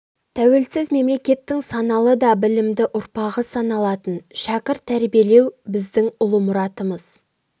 тәуелсіз мемлекеттің саналы да білімді ұрпағы саналатын шәкірт тәрбиелеу біздің ұлы мұратымыз